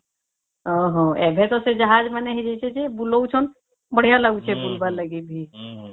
ଓ ହୋ ଏବେ ଟା ସେ ଜାହାଜ ମାନେ ହେଇ ଯାଇଛେ ଯେ ବୁଲାଉଛନ ବଢିଆ ଲାଗୁଛେ ବୁଲିବାର ଲାଗି ବି